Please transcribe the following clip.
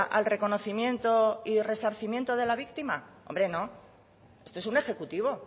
al reconocimiento y resarcimiento de la víctima hombre no esto es un ejecutivo